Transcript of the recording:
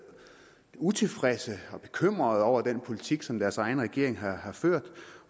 utilfredse og bekymrede over den politik som deres egen regering har ført